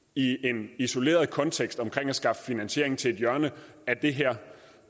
i en isoleret kontekst omkring at skaffe finansiering til et hjørne af det her